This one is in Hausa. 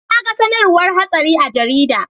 Naga sAnarwar hatsari a jarida